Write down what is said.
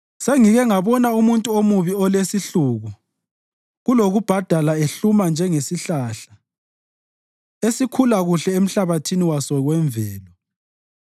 Sengike ngabona umuntu omubi olesihluku kulokubhadala ehluma njengesihlahla, esikhula kuhle emhlabathini waso wemvelo,